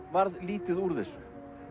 varð lítið úr þessu